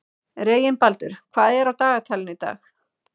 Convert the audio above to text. Reginbaldur, hvað er á dagatalinu í dag?